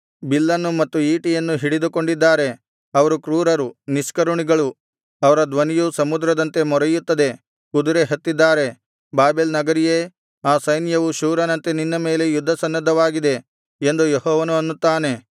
ಬಿಲ್ಲನ್ನೂ ಮತ್ತು ಈಟಿಯನ್ನೂ ಹಿಡಿದುಕೊಂಡಿದ್ದಾರೆ ಅವರು ಕ್ರೂರರು ನಿಷ್ಕರುಣಿಗಳು ಅವರ ಧ್ವನಿಯು ಸಮುದ್ರದಂತೆ ಮೊರೆಯುತ್ತದೆ ಕುದುರೆ ಹತ್ತಿದ್ದಾರೆ ಬಾಬೆಲ್ ನಗರಿಯೇ ಆ ಸೈನ್ಯವು ಶೂರನಂತೆ ನಿನ್ನ ಮೇಲೆ ಯುದ್ಧಸನ್ನದ್ಧವಾಗಿದೆ ಎಂದು ಯೆಹೋವನು ಅನ್ನುತ್ತಾನೆ